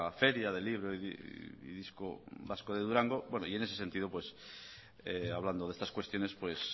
feria del libro y disco vasco de durango bueno y en ese sentido pues hablando de estas cuestiones pues